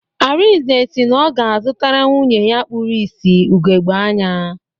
Arinze si na ọ ga-azụtara nwunye ya kpuru ìsì ugogbe anya